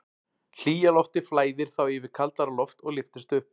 Hlýja loftið flæðir þá yfir kaldara loft og lyftist upp.